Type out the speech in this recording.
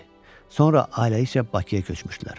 Sonra ailəlikcə Bakıya köçmüşdülər.